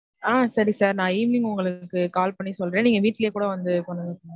ஆஹ் சரி sir நான் evening உங்களுக்கு call பண்ணி சொல்றன் நீங்க வீட்லயே கூட வந்து கொண்டு வந்து குடுக்கலான்